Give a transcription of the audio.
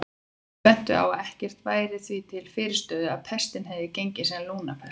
Aðrir bentu á að ekkert væri því til fyrirstöðu að pestin hefði gengið sem lungnapest.